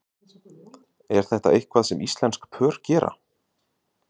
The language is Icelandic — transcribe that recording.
Er þetta eitthvað sem íslensk pör gera?